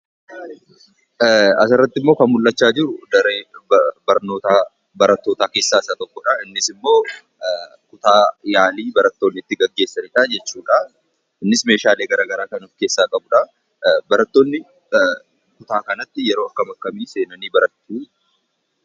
Asirrattimmoo kan mul'achaa jiru daree barnootaa barattootaa keessaa isa tokkodha. Innis immoo kutaa yaalii barattoonni itti gaggeessanidha. Innis meeshaalee garaagaraa kan of keessaa qabudha. Barattoonni kutaa kanatti yeroo akkamii akkamii seenanii baratu?